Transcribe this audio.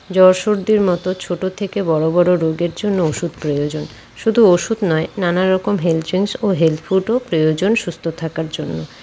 জ্বর সর্দির মতো ছোট থেকে বড়ো বড়ো রোগের জন্য ওষুধ প্রয়োজন শুধু ওষুধ নয় নানা রকম হেলথ চেন্জ ও হেলথ ফুড ও প্রয়োজন সুস্থ থাকার জন্য।